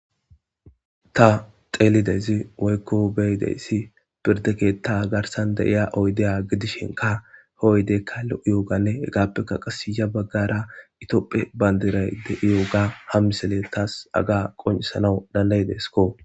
ta xeelidezi woykko beyideyssi pirde keetta garsan deiya oydeya gidishenka hooydeykka lo7uyooganne hegappeka qasiya baggara itoopphe bandiray de7iyooga ham misele taas aga qoncisanaw dandayideskko